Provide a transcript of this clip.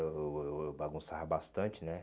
Eu eu eu bagunçava bastante, né?